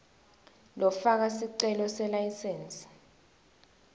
lofaka sicelo selayisensi